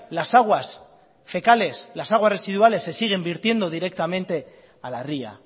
las aguas fecales las aguas residuales se siguen vertiendo directamente a la ría